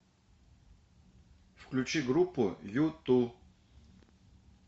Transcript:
включи группу юту